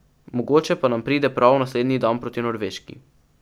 Mogoče pa nam pride prav naslednji dan proti Norveški.